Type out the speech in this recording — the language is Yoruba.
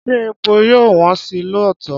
Ṣé epo yóò wọ́n sí lóòótọ́?